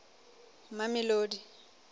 mamelodi